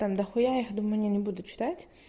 там дохуя их думаю не не буду читать